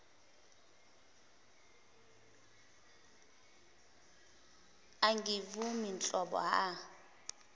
angivumi nhlobo a